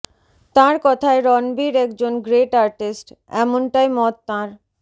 তাঁর কথায় রণবীর একজন গ্রেট আর্টিস্ট এমনটাই মত তাঁর